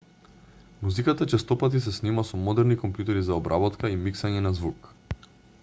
музиката честопати се снима со модерни компјутери за обработка и миксање на звук